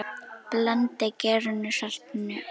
Blandið gerinu, saltinu og?